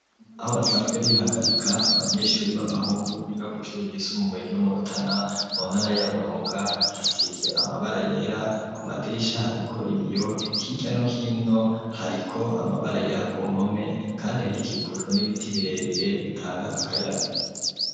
Aho basanzwe bihagarika abanyeshuri baba hungu biga kw'ishuri ryisumbuye ryo Murutana mu ntara ya Burunga hasize amabara yera ku madirisha hariko ibiyo hiryano hino hariko amabara yera ku mpome kandi hakikujwe n'ibiti birebire bitanga akayaga.